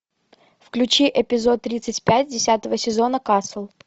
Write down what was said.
включи эпизод тридцать пять десятого сезона касл